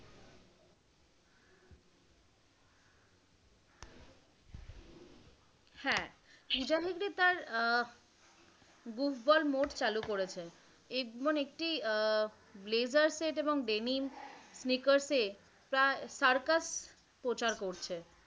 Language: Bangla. হ্যাঁ পূজা হেগড়ে তার আহ buh ball mode চালু করেছে এবং একটি ব্লেজার সেট এবং denim sneakers এ তার সার্কাস প্রচার করছে।